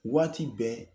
Waati bɛɛ